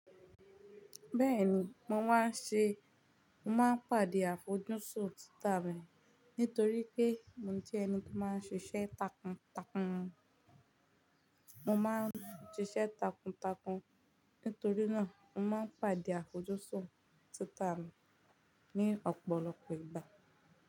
Bẹ́ẹ̀ni, mo máa ń ṣe, mo máa ń pàdé àfojúsùn Twitter mi nítorí pé mo jẹ́ ẹni tó máa ń ṣiṣẹ́ takuntakun. Mo máa ń ṣiṣẹ́ takuntakun, nítorí náà mo máa ń pàdé àfojúsùn Twitter mi ní ọ̀pọ̀lọpọ̀ ìgbà.